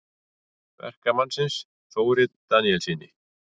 Verkamannsins, Þóri Daníelssyni.